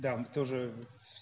да в тоже